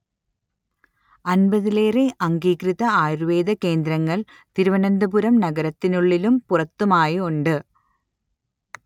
അൻപതിലേറെ അംഗീകൃത ആയുർവേദ കേന്ദ്രങ്ങൾ തിരുവനന്തപുരം നഗരത്തിനുള്ളിലും പുറത്തുമായുണ്ട്